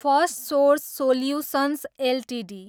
Firstsource solutions Ltd